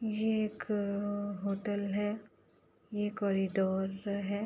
ये एक अ होटल है। ये कॉरिडोर है।